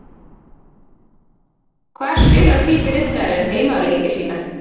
Hvar spilar Hvíti Riddarinn heimaleiki sína?